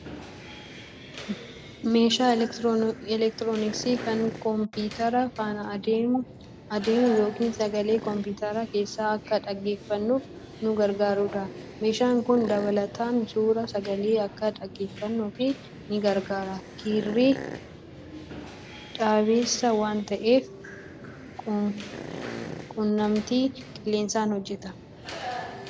Meeshaa elektirooniksii kan kompiitara faana adeemu yookiin sagalee kompiitara keessaa akka dhaggeeffannuuf nu gargaarudha. Meeshaan kun dabalataan suur sagalee akka dhaggeeffannuuf ni gargaara. Kirrii dhabeessa waan ta'eef, qunnamtii qilleensaan hojjeta.